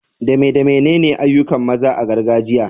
Dame damenene ayyukan maza a gargajiya?